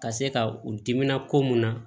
Ka se ka u dimina ko mun na